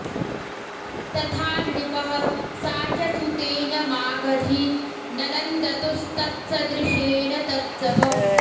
तथा नृपः सा च सुतेन मागधी ननन्दतुस्तत्सदृशेन तत्समौ